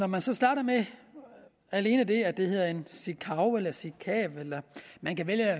man så starter med alene det at det hedder en sikav en sikav man kan vælge at